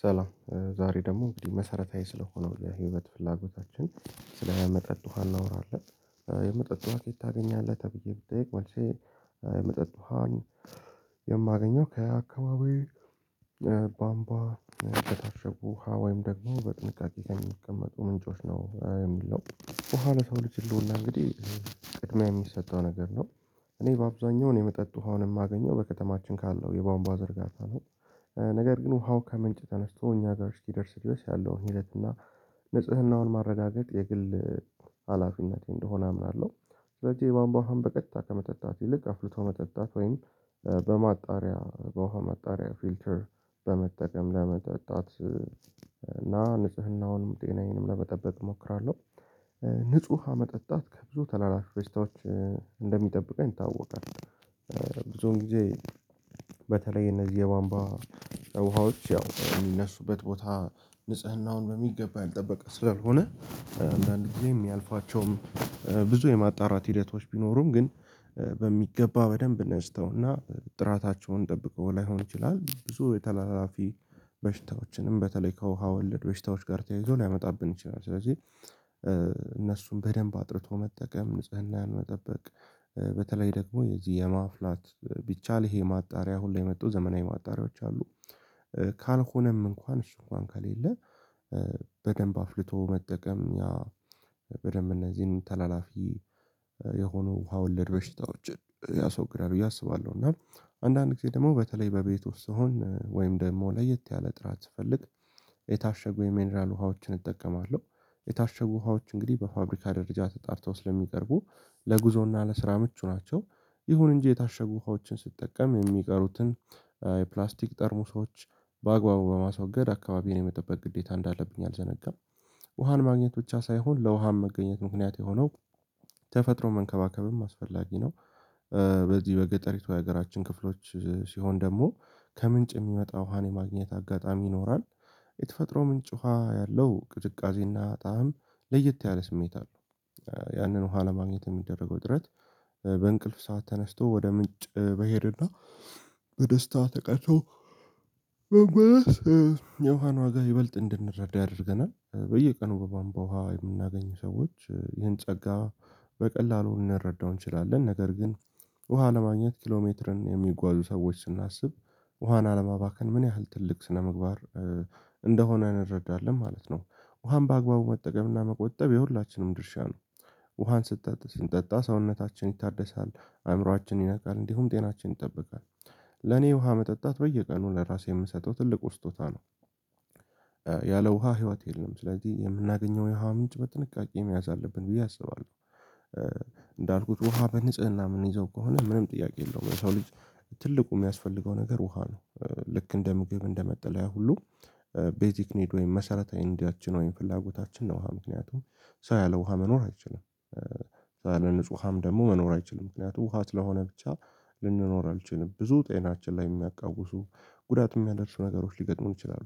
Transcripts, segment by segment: ሰላም ዛሬ ደሞ መሰረታዊ ስለሆነው የህይወት ፍላጎታችን ስለ መጠጥ ውሃ እናወራለን የመጠጥ ውሃ ከየት ታገኛለህ? ተብዬ ብጠየቅ መልሴ የመጠጥ ውሃን የማገኘው ከአካባቢ ባምቧ በታሸጉ ውሃ ወይም ደግሞ በጥንቃቄ ከሚቀመጡ ምንጮች ነው። የሚለው ውሃ ለሰው ልጅ ህልውና እንግዲህ ቅድምያ የሚሰጠው ነገር ነው። እኔ በአብዛኛው የመጠጥ ውሃውን የማገኘው በከተማችን ካለው የባንቧ ዝርጋታ ነው። ነገር ግን ውሃው ከምንጭ ተነስቶ እኛ ጋር እስኪደርስ ድረስ ያለውን ሂደት እና ንጽህናውን ማረጋገጥ የግል ሀላፊነቴ እንደሆነ አምናለው። ስለዚህ የባንቧ ውሃን በቀጥታ ከመጠጣት ይልቅ አፍልቶ መጠጣት ወይም በማጣሪያ በውሃ መጣሪያ ፊልተር በመጠቀም ለመጠጣት እና ንጽህናውንም ጤናዬንም ለመጠበቅ እሞክራለው። ንጹህ ውሃ መጠጣት ከብዙ ታላላፈ በሽታዎች እንደሚጠብቀኝ ይታወቃል። ብዙ ጊዜ በተለይ እነዚህ የባምቧ ውሃዎች ያው እሚነሱበት ቦታ ንጽህናውን በሚገባ ያልጠበቀ ስላልሆነ። አንዳንድ ጊዜ የሚያልፋቸውም ብዙ የማጣራት ሂደቶች ቢኖሩም ግን በሚገባ በደንብ ነስተውና ጥራታቸውን ጠብቀው ላይሆን ይችላል። ብዙ የተላላፊ በሽታዎችንም በተለይ ከውሃ ወለድ በሽታዎች ጋር ተያይዞ ሊያመጣብን ይችላል። ስለዚህ እነሱን በደንብ አጥርቶ መጠቀም ንጽህናን መጠበቅ በተለይ ደግሞ የዚህ የማፍላት ቢቻል ይሄ ማጣሪያ አሁን ላይ መጥቶ ዘመናዊ ማጣሪያዎች አሉ። ካልሆነም እንኳን እሱ እንኳን ከሌለ በደንብ አፍልቶ መጠቀም። በደንብ እነዚህን ተላላፊ የሆኑ ውሃ ወለድ በሽታዎችን ያሰወግዳል ብዬ አስባለሁ። እና አንዳንድ ጊዜ ደሞ በተለይ በቤት ውስጥ ስሆን ወይም ደግሞ ለየት ያለ ጥራት ስፈልግ የታሸጉ የሚነራል ውሃዎችን እጠቀማለው። የታሸጉ ውሃዎች እንግዲህ በፋብሪካ ደረጃ ተጣርተው ስለሚቀርቡ ለጉዞና ለስራ ምቹ ናቸው። ይሁን እንጂ የታሸጉ ውሃዎችን ስትጠቀም የሚቀሩትን የፕላስቲክ ጠርሙሶች በአግባቡ በማስወገድ አካባቢን የመጠበቅ ግዴታ እንዳለብኝ አልዘነጋም። ውሃን ማግኘት ብቻ ሳይሆን ለውሃም መገኘት ምክንያት የሆነው ተፈጥሮ መንከባከብም አስፈላጊ ነው። በዚህ በገጠሪቱ የሀገራችን ክፍሎች ሲሆን ደሞ ከምንጭ የሚመጣ ውሃን የማግኘት አጋጣሚ ይኖራል። የተፈጥሮ ምንጭ ውሃ ያለው ቅዝቃዜና ጣዕም ለየት ያለ ስሜት አለው። ያንን ውሃ ለማግኘት እሚደረገው ጥረት በእንቅልፍ ሰዓት ተነስቶ ወደ ምንጭ መሄድና በደስታ ተቀድቶ የውሃን ዋጋ ይበልጥ እንድንረዳ ያደርገናል። በየቀኑ በባምቧ ውሃ የምናገኝ ሰዎች ይህን ጸጋ በቀላሉ ልንረዳው እንችላለን። ነገር ግን ውሃ ለማግኘት ኪሎሜትርን የሚጓዙ ሰዎች ስናስብ ውሃን አለማባከን ምን ያህል ትልቅ ስነምግባር እንደሆነ እንረዳለን ማለት ነው። ውሃም በአግባቡ መጠቀምና መቆጠብ የሁላችንም ድርሻ ነው። ውሃን ስንጠጣ ስንጠጣ ሰውነታችን ይታደሳል አእምሯችን ይነቃል እንዲሁም ጤናችን ይጠብቃል። ለኔ ውሃ መጠጣት በየቀኑ ለራሴ የምሰጠው ትልቁ ስጦታ ነው። ያለ ውሃ ህይወት የለም ስለዚህ የምናገኘው የውሃ ምንጭ በጥንቃቄ መያዝ አለብን ብዬ አስባለው። እንዳልኩት ውሃ በንጽህና ምንይዘው ከሆነ ምንም ጥያቄ የለውም የሰው ልጅ ትልቁ የሚያስፈልገው ነገር ውሃ ነው። ልክ እንደ ምግብ እንደመጠለያ ሁሉ ቤዚክ ኒድ ወይም መሰረታዊ እንዲያችን ወይም ፍላጎታችን ነው ውሃ ምክንያቱም ሰው ያለ ውሃ መኖር አይችልም። ሰው ያለ ንጹህ ውሃም ደግሞ መኖር አይችልም። ምክንያቱም ውሃ ስለ ሆነ ብቻ ልንኖር አንችልም ብዙ ጤናችን ላይ የሚያቃውሱ ጉዳት የሚያደርሱ ነገሮች ሊገጥሙን ይችላሉ።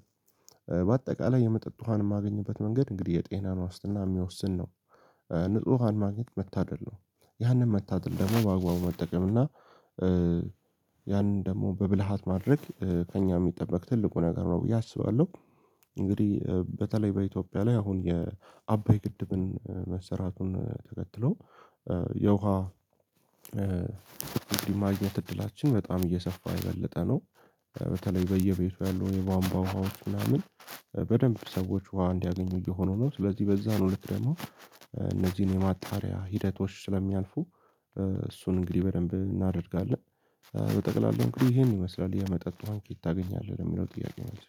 በአጠቃላይ የመጠጥ ውሃን ማገኝበት መንገድ እንግዲህ የጤና ነው ዋስትና የሚወስን ነው። ንጹህ ውሃን ማግኘት መታደል ነው። ያንን መታደል ደሞ በአግባቡ መጠቀም እና ያንን ደግሞ በብልሃት ማድረግ ከእኛ የሚጠበቅ ትልቁ ነገር ነው ብዬ አስባለው። እንግዲህ በተለይ በኢትዮጵያ ላይ አሁን የአባይ ግድብን መስራቱን ተከትሎ የውሃ እንግዲህ ማግኘት እድላችን በጣም የሰፋ የበለጠ ነው። በተለይ በየቤቱ ያለው የባንቧ ውሃዎች ምናምን በደንብ ሰዎች ውሃ እንዲያገኙ እየሆኑ ነው። ስለዚህ በዛ ነው ልክ ደሞ እነዚህን የማጣሪያ ሂደቶች ስለሚያልፉ እሱን እንግዲህ በደንብ እናደርጋለን። በጠቅላላው እንግዲህ ይሄን ይመስላል የመጠጥ ውሃ ከየት ታገኛለህ ለሚለው ጥያቄዎች